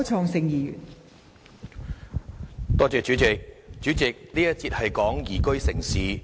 代理主席，這一節是有關宜居城市。